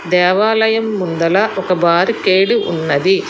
దేవాలయం ముందల ఒక బార్ గేటు ఉన్నది.